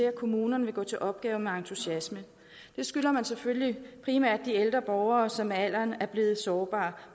at kommunerne vil gå til opgaven med entusiasme det skylder man selvfølgelig primært de ældre borgere som med alderen er blevet sårbare